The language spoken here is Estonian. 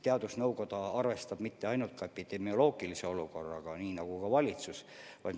Teadusnõukoda ei arvesta ainult epidemioloogilise olukorraga ja valitsus samuti.